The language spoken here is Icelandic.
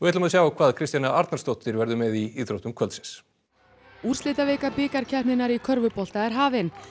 sjá hvað Kristjana Arnarsdóttir verður með í íþróttum kvöldsins úrslitavika bikarkeppninnar í körfubolta er hafin